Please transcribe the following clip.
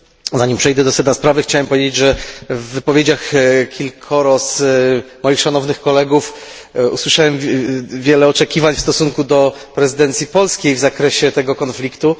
Zanim przejdę do sedna sprawy chciałem powiedzieć, że w wypowiedziach kilku moich szanownych kolegów usłyszałem wiele oczekiwań w stosunku do prezydencji polskiej w zakresie tego konfliktu.